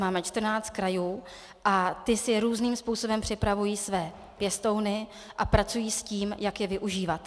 Máme 14 krajů a ty si různým způsobem připravují své pěstouny a pracují s tím, jak je využívat.